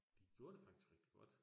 De gjorde det faktisk rigtig godt